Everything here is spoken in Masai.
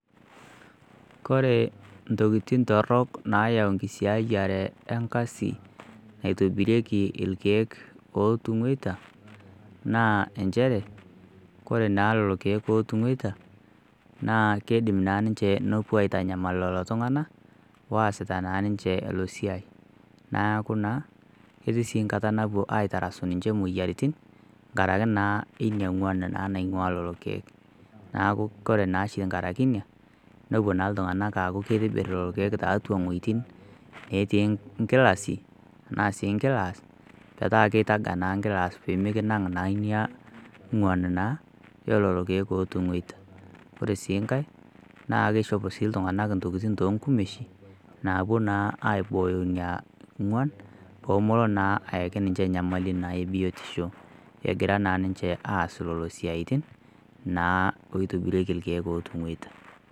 Kore ntokitin torok nayau enkisiayare enkasi naitobirieki irkiek ootungeita naa inchere, kore naa lelo irkiek pootungeita naa keidim naa ninche nepuo aitanyamal lelo tungana oasita naa ninche ilo siai. Naaku naa ketii nkata napuo aitarasu ninche imoyiaritin ngaraki naa enia inguan naa naing'ua lelo irkiek. Naaku kore naashi engaraki enia nepo naa iltunganak aaku keitibir lelo irkiek tiatua wuetin natii inkilasi tanaa sii inkilaas, pataa keitaga naa nkilaas pemekinang' naa inia inguan naa oo lelo irkiek ootung'oita. Ore sii inkae naa keishopo sii iltunganak ntokitin too nkumeshin, naapo naa aibooyo inia inguan peemelo naa ayaki ninche inyamali naa ebiotisho egiraa naa ninche aas lelo siatin naa oitibirieki irkiek ootung'oita.